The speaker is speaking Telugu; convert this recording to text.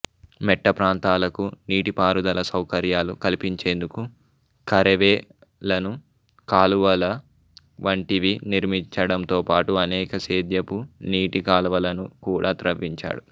మెట్టప్రాంతాలకు నీటిపారుదల సౌకర్యాలు కల్పించేందుకు కరేవ లను కాలువల వంటివి నిర్మించడంతోపాటు అనేక సేద్యపు నీటి కాలవలను కూడా త్రవ్వించాడు